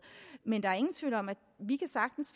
men der er ingen tvivl om at vi sagtens